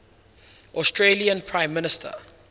australian prime minister